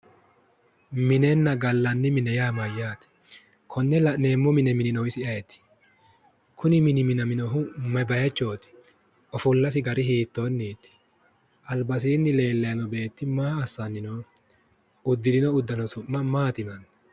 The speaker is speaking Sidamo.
Minenna gallanni mine yaa mayyaate? konne la'neemmo mine mininohu isi ayeeti? kuni mini minaminohu may baychooti? ofollasi gari hiittoniiti? albasiinni leellanni noo beetti maa assanni nooho? Udirino udano su'ma maati yinanni?